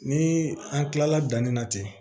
Ni an kilala danni na ten